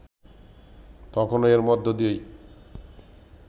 তখন এর মধ্য দিয়েই